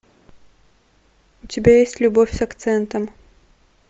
у тебя есть любовь с акцентом